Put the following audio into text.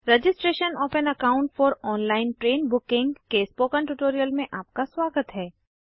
registration of an account for online train booking के spoken tutorial में आपका स्वागत है